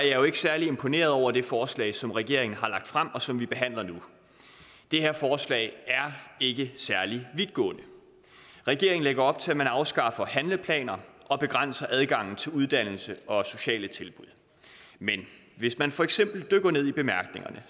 jo ikke særlig imponeret over det forslag som regeringen har lagt frem og som vi behandler nu det her forslag er ikke særlig vidtgående regeringen lægger op til at man afskaffer handleplaner og begrænser adgangen til uddannelse og sociale tilbud men hvis man for eksempel dykker ned i bemærkningerne